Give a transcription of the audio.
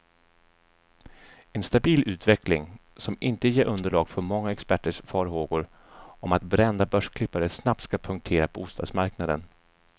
En stabil utveckling, som inte ger underlag för många experters farhågor om att brända börsklippare snabbt ska punktera bostadsmarknaden.